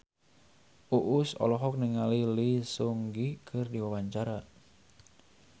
Uus olohok ningali Lee Seung Gi keur diwawancara